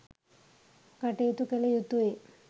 කටයුතු කළ යුතුයි.